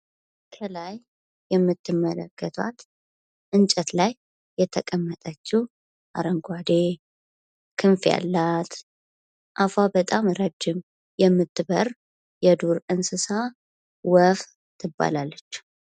ከላይ የምትመለከቷት እንጨት ላይ የተቀመጠችው አረንጓዴ፣ ክንፍ ያላት ፣አፋ በጣም ረጅም ፣የምትበር የዱር እንስሳ ወፍ ትባላለች።